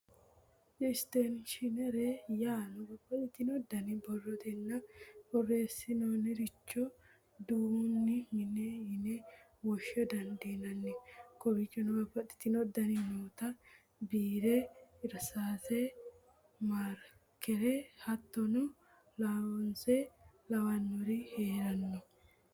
Isteshinere, yaano babaxino dani borrotenna boreesinaniricho duu'nani mine yine wosha dandinanni kowichono babaxino dani nootta biirre irisaase, maarikere, hattono laaoise'o lawinori heerano